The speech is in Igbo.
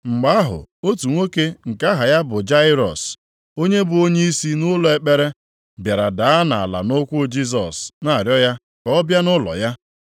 Mgbe ahụ otu nwoke nke aha ya bụ Jairọs, onye bụ onyeisi nʼụlọ ekpere, bịara daa nʼala nʼụkwụ Jisọs na-arịọ ya ka ọ bịa nʼụlọ ya.